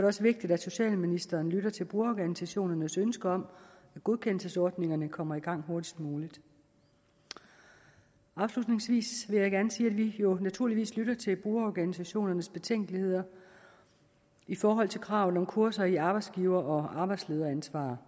også vigtigt at socialministeren lytter til brugerorganisationernes ønsker om at godkendelsesordningerne kommer i gang hurtigst muligt afslutningsvis vil jeg gerne sige at vi jo naturligvis lytter til brugerorganisationernes betænkeligheder i forhold til kravet om kurser i arbejdsgiver og arbejdslederansvar